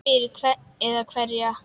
Fyrir hvern eða hverja?